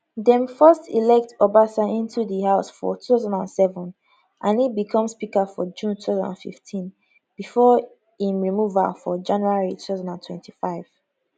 dem first elect obasa into di house for 2007 and e become speaker for june 2015 bifor im removal for january 2025